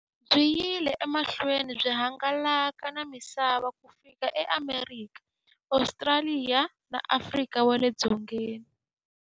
Byi yile emahlweni byi hangalaka na misava ku fika e Amerika, Ostraliya na Afrika wale dzongeni.